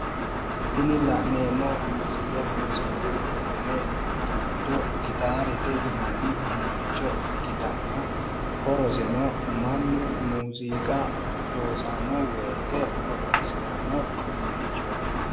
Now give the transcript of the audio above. Tini la'neemmo misile muuziqu uduunne giddo gitaarete yinanni ikkitanna horoseno mannu muuziqa loosanno woyte horonsi'ranno uduunnichooti.